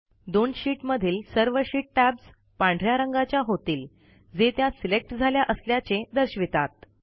दोन शीट मधील सर्व शीट टॅब्स पांढ या रंगाच्या होतील जे त्या सिलेक्ट झाल्या असल्याचे दर्शवितात